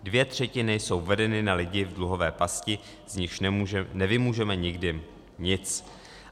Dvě třetiny jsou vedeny na lidi v dluhové pasti, z nichž nevymůžeme nikdy nic.